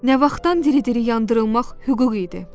Nə vaxtdan diri-diri yandırılmaq hüquq idi?